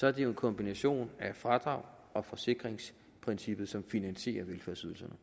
er det jo en kombination af fradrags og forsikringsprincippet som finansierer velfærdsydelserne